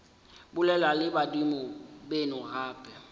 bolela le badimo beno gape